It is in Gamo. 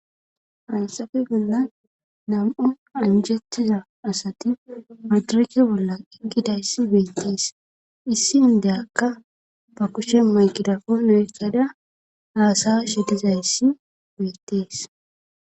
Hayssafe bollan nam7u anjjettiza asati madireeke bolla eqqidayssi beettees issi inddiyaka ba kushen maygirapoone oyqqada haasa7ashe dizayssi beettees.